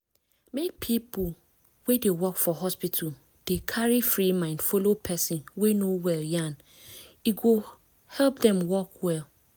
make people wey dey work for hospital dey carry free mind follow person wey no well yan e go help dem work well